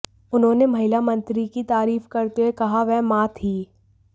उन्होंने महिला मंत्री की तारीफ करते हुए कहा वह मां थी